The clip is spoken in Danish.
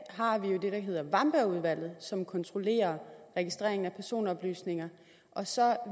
har vi jo det der hedder wambergudvalget som kontrollerer registreringen af personoplysninger og så